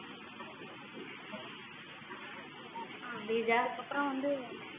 ஸ்ரீஜா அதுக்கப்புறம் வந்து